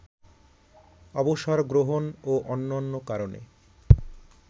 অবসর গ্রহণ ও অন্যান্য কারণে